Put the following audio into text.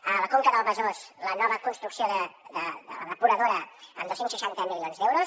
a la conca del besòs la nova construcció de la depuradora amb dos cents i seixanta milions d’eu ros